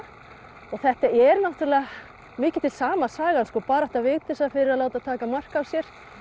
og þetta er náttúrulega mikið til sama sagan barátta Vigdísar fyrir að láta taka mark á sér